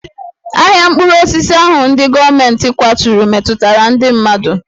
Ahịa mkpụrụ osisi ahụ ndị gọọmentị kwaturu metụtara ndị mmadụ